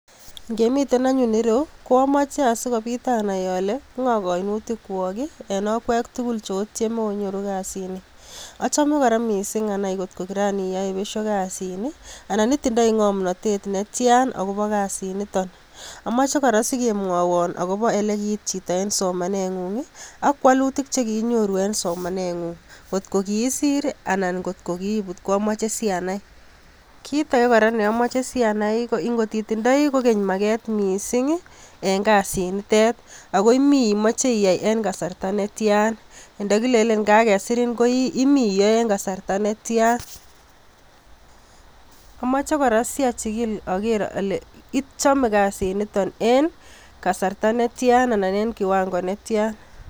Ngemiten anyun ireyu koamoche asikopit anai ale ng'o koinutikwok en okwek tugul cheotieme onyoru kasini achome kora anai mising ngotko kiran iyoe besio kasini anan itindoi ng'omnotet netian akopo kasini amoche kora asikemwowon olekiit chito en somaneng'ung ak wolutik chekiinyoru en somaneng'ung ngot kokiisir anan ngot kokiibut ko amoche si anai kit ake kora neamoche si anai, kit ake neamoche si anai ngot itindoi kora maket en kasinitet ako imi iyoe en kasarta netian ndokilelen kakesir imi iyoe en kasarta netian amoche kora siachikil akere ale ichome kasini nito en kasarta netian ana en kiwango netian.